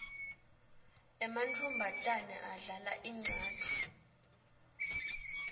emantfombatane adlala incatfu